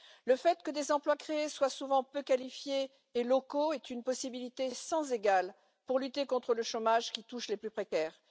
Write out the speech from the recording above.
Le fait que les emplois créés soient souvent peu qualifiés et locaux est une possibilité sans égale pour lutter contre le chômage qui touche les plus précaires.